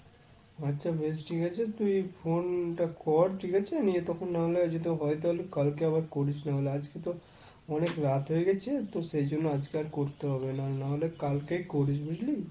আচ্ছা বেশ ঠিক আছে তুই phone টা কর ঠিক আছে নে তখন না হলে যদি হয় তাহলে কালকে একবার করিস নাহলে। আজকে তো অনেক রাত হয়ে গেছে, তো সেজন্য আজকে আর করতে হবে না। না হলে কালকেই করিস বুঝলি?